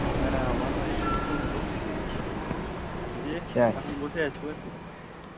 হ্যাঁ আমারো এই মাত্র হোল, দিয়ে এখন বসে আছিস